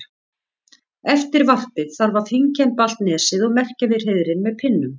Eftir varpið þarf að fínkemba allt nesið og merkja við hreiðrin með pinnum.